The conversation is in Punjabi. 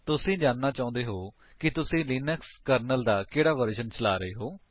ਤੁਸੀ ਜਾਣਨਾ ਚਾਹੁੰਦੇ ਹੋਵੋਗੇ ਕਿ ਤੁਸੀਂ ਲਿਨਕਸ ਕਰਨਲ ਦਾ ਕਿਹੜਾ ਵਰਜਨ ਚਲਾ ਰਹੇ ਹੋ